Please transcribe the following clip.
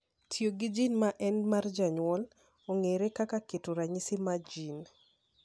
Tiyo gi jin ma en mar jonyuol ong’ere kaka keto ranyisi mar jin.